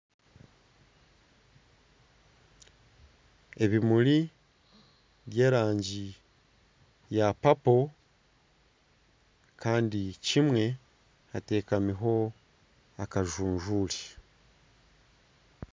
Ebimuri byerangi ya purple Kandi kimwe hatekamiho akajujure